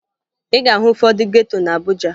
Ị ga-ahụ ụfọdụ geto na Abuja